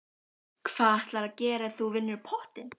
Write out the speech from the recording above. Magnús: Hvað ætlarðu að gera ef þú vinnur pottinn?